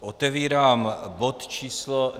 Otevírám bod číslo